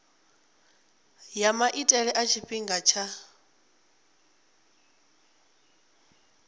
ya maitele a tshifhinga tsha